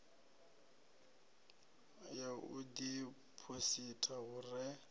ya u diphositha hu re